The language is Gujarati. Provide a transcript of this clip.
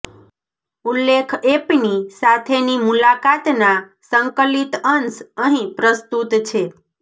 ઉલ્લેખ એનપી સાથેની મુલાકાતના સંકલિત અંશ અહીં પ્રસ્તુત છે